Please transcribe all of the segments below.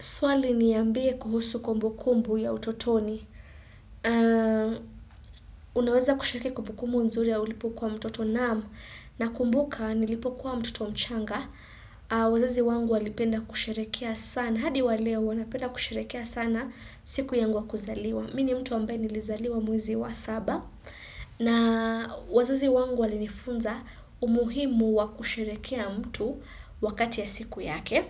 Swali ni ambie kuhusu kumbu kumbu ya utotoni. Unaweza kushiriki kumbu kumbu nzuri ya ulipo kuwa mtoto naam na kumbuka nilipo kuwa mtoto mchanga. Wazazi wangu walipenda kusherehekea sana. Hadi wa leo wanapenda kusherehekea sana siku yangu wa kuzaliwa. Mini mtu ambaye nilizaliwa mwezi wa saba. Na wazazi wangu walinifunza umuhimu wa kusherehekea mtu wakati ya siku yake.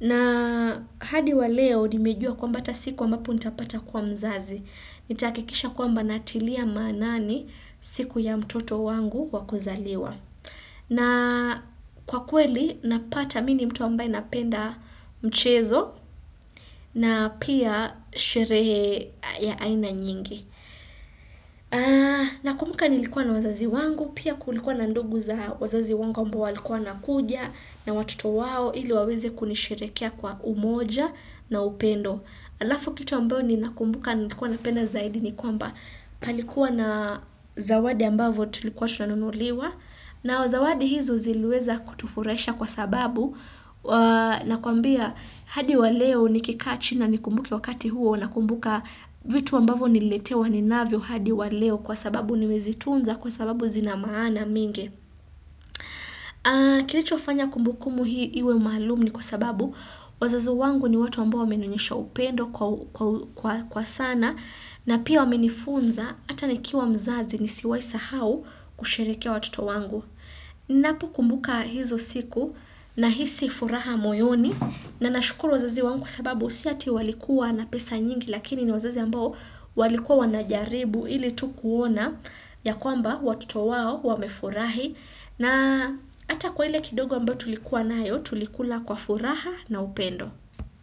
Na hadi wa leo nimejua kwa mba hata siku ambapo nitapata kuwa mzazi, nitahakikisha kwa mba natilia maanani siku ya mtoto wangu wakuzaliwa. Na kwa kweli napata mini mtu ambaye napenda mchezo na pia sherehe ya aina nyingi. Na kumbuka nilikuwa na wazazi wangu Pia kulikuwa na ndugu za wazazi wangu ambao walikuwa wana kuja na watoto wao ili waweze kunisherehekea Kwa umoja na upendo Alafu kitu ambao ni nakumbuka Nilikuwa na penda zaidi ni kwamba Palikuwa na zawadi ambavo Tulikuwa tunanunuliwa nao zawadi hizo ziliweza kutufuraisha Kwa sababu na kuambia hadi wa leo Nikikaa chini na nikumbuke wakati huo Nakumbuka vitu ambavo nililetewa ni navyo hadi wa leo kwa sababu ni mezitunza kwa sababu zina maana minge. Kilichofanya kumbukumu hii iwe maalum ni kwa sababu wazazi wangu ni watu ambao wamenionyesha upendo kwa sana na pia wamenifunza hata nikiwa mzazi ni siwaisa hau kusherehekea watoto wangu. Napo kumbuka hizo siku na hisi furaha moyoni na nashukuru wazazi wangu kwa sababu siati walikuwa na pesa nyingi lakini wazazi ambao walikuwa wanajaribu ili Tukuona ya kwamba watoto wao wamefurahi na hata kwa ile kidogo ambayo tulikuwa nayo tulikula kwa furaha na upendo.